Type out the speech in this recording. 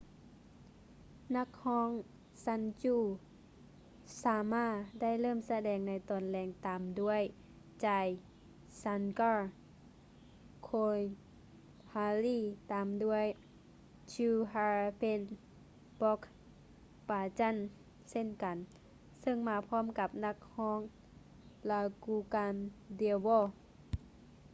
ນັກຮ້ອງ sanju sharma ໄດ້ເລີ່ມສະແດງໃນຕອນແລງຕາມດ້ວຍ jai shankar choudhary ຕາມດ້ວຍ chhappan bhog bhajan ເຊັ່ນກັນ ເຊິ່ງມາພ້ອມກັບນັກຮ້ອງ raju khandelwal